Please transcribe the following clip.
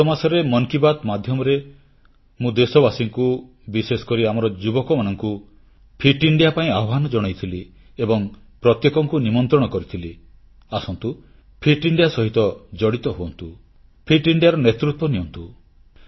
ଗତ ମାସରେ ମନ୍ କି ବାତ୍ ମାଧ୍ୟମରେ ମୁଁ ଦେଶବାସୀଙ୍କୁ ବିଶେଷକରି ଆମର ଯୁବକମାନଙ୍କୁ ଫିଟ୍ ଇଣ୍ଡିଆ ପାଇଁ ଆହ୍ୱାନ ଜଣାଇଥିଲି ଏବଂ ପ୍ରତ୍ୟେକଙ୍କୁ ନିମନ୍ତ୍ରଣ କରିଥିଲି ଆସନ୍ତୁ ଫିଟ୍ ଇଣ୍ଡିଆ ସହିତ ଜଡ଼ିତ ହୁଅନ୍ତୁ ଫିଟ୍ ଇଣ୍ଡିଆର ନେତୃତ୍ୱ ନିଅନ୍ତୁ